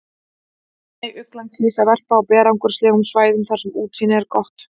Snæuglan kýs að verpa á berangurslegum svæðum þar sem útsýni er gott.